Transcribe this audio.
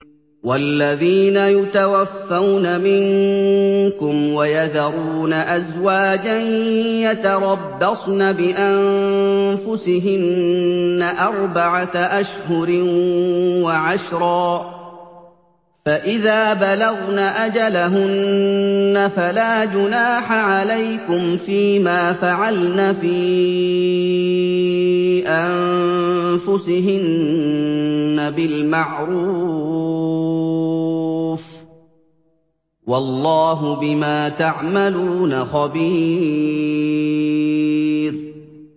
وَالَّذِينَ يُتَوَفَّوْنَ مِنكُمْ وَيَذَرُونَ أَزْوَاجًا يَتَرَبَّصْنَ بِأَنفُسِهِنَّ أَرْبَعَةَ أَشْهُرٍ وَعَشْرًا ۖ فَإِذَا بَلَغْنَ أَجَلَهُنَّ فَلَا جُنَاحَ عَلَيْكُمْ فِيمَا فَعَلْنَ فِي أَنفُسِهِنَّ بِالْمَعْرُوفِ ۗ وَاللَّهُ بِمَا تَعْمَلُونَ خَبِيرٌ